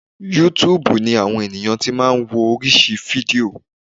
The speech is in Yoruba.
Yútúuùbù ni àwọn ènìyàn ti máa ń wo oríṣi fídíò.